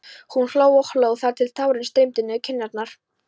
Hún hló og hló þar til tárin streymdu niður kinnarnar.